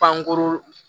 Pankuru